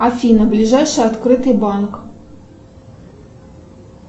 афина ближайший открытый банк